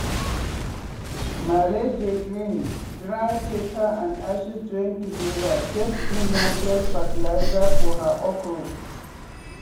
malee dey grin dry pepper and ashes join together take do natural fertiliser for her okro.